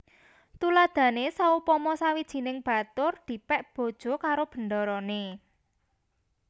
Tuladhané saupama sawijining batur dipèk bojo karo bendarané